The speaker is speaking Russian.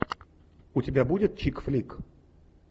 у тебя будет чик флик